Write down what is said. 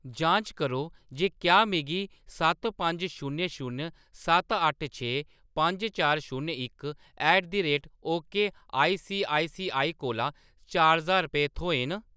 जांच करो जे क्या मिगी सत्त पंज शून्य शून्य सत्त अट्ठ छे पंज चार शून्य इक at the rate okay ICICI कोला चार ज्हार रपेऽ थ्होए न।